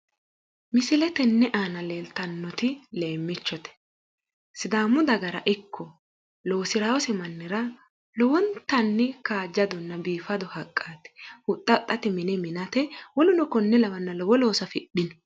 Misile tenne aana leeltannoti leemmichote, sidaamu dagara ikko loosirase mannira lowontanni biifadonna kaajjado haqqaati, huxxa huxxate mine minate woluno konne lawino looso loosate lowo looso afi'dhino